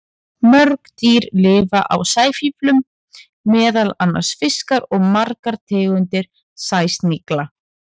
Mörg dýr lifa á sæfíflum, meðal annars fiskar og margar tegundir sæsnigla.